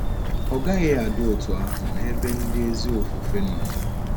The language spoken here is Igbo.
Ọ gaghị adi otú ahụ n’ebe ndị ezi ofufe nọ.